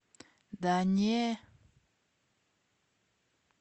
да не